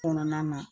Kɔnɔna na